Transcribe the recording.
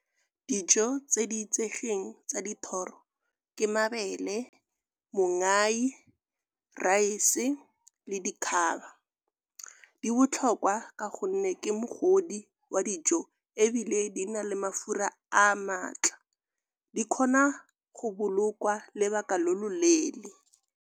Dijo tse di itsegeng tsa dithoro ke mabele, mongai, raese le dikgaba. Di botlhokwa kwa ka gonne ke mogodi wa dijo ebile di na le mafura a maatla. Di kgona go bolokwa lebaka lo loleele.